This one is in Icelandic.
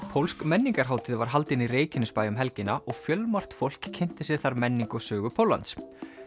pólsk menningarhátíð var haldin í Reykjanesbæ um helgina og fjölmargt fólk kynnti sér þar menningu og sögu Póllands